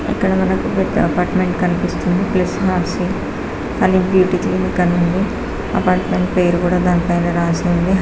ఇక్కడ మనకి అపార్ట్మెంట్ కనిపిస్తుంది. ప్లస్ హనీ బ్యూటీ క్లినిక్ అని ఉంది. అపార్ట్మెంట్ పేరు కూడా దానిపైన రాసి ఉంది.